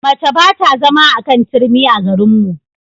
Mace ba ta zama a kan turmi a garinmu.